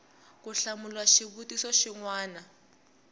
ku hlamula xivutiso xin wana